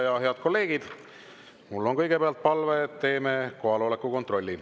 Ja head kolleegid, mul on kõigepealt palve, et teeme kohaloleku kontrolli.